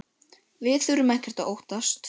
Við þurfum ekkert að óttast!